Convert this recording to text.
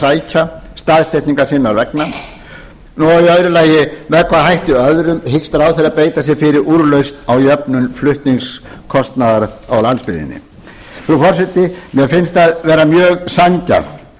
sækja staðsetningar sinnar vegna annars með hvaða hætti öðrum hyggst ráðherra beita sér fyrir úrlausnum á jöfnun flutningskostnaðar á landsbyggðinni frú forseti mér finnst mjög sanngjarnt